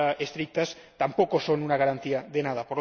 más estrictas, tampoco son una garantía de nada.